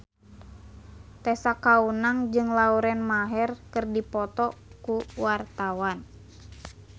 Tessa Kaunang jeung Lauren Maher keur dipoto ku wartawan